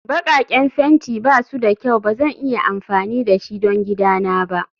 Bakaken fenti ba su da kyau Ba zan iya amfani da shi don gidana ba